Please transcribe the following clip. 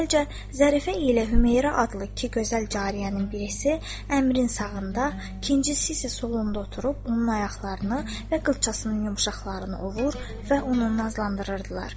Əvvəlcə Zərifə ilə Hüreyrə adlı iki gözəl cariyənin birisi əmirin sağında, ikincisi isə solunda oturub onun ayaqlarını və qılçasının yumşaqlarını ovur və onu nazlandırırdılar.